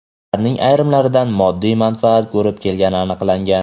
ularning ayrimlaridan moddiy manfaat ko‘rib kelgani aniqlangan.